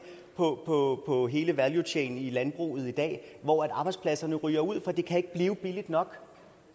på hele valuechainen i landbruget i dag hvor arbejdspladserne ryger ud for det kan ikke blive billigt nok